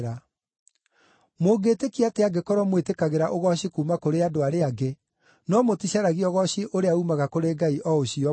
Mũngĩtĩkia atĩa angĩkorwo mwĩtĩkagĩra ũgooci kuuma kũrĩ andũ arĩa angĩ, no mũticaragia ũgooci ũrĩa uumaga kũrĩ Ngai o ũcio ũmwe?